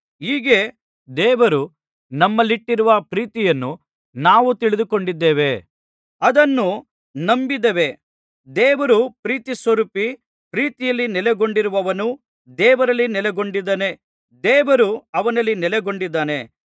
ಹೀಗೆ ದೇವರು ನಮ್ಮಲ್ಲಿಟ್ಟಿರುವ ಪ್ರೀತಿಯನ್ನು ನಾವು ತಿಳಿದುಕೊಂಡಿದ್ದೇವೆ ಅದನ್ನು ನಂಬಿದ್ದೇವೆ ದೇವರು ಪ್ರೀತಿಸ್ವರೂಪಿ ಪ್ರೀತಿಯಲ್ಲಿ ನೆಲೆಗೊಂಡಿರುವವನು ದೇವರಲ್ಲಿ ನೆಲೆಗೊಂಡಿದ್ದಾನೆ ದೇವರು ಅವನಲ್ಲಿ ನೆಲೆಗೊಂಡಿದ್ದಾನೆ